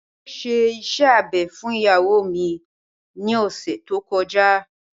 Wọn ṣe iṣẹ́ abẹ fún ìyàwó mi ní ọ̀sẹ̀ tí ó kọjá